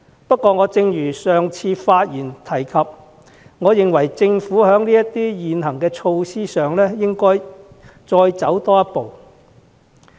不過，正如我上次發言時提及，我認為政府應在現行措施上多走一步。